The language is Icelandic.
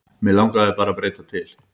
Mig langaði bara að breyta til.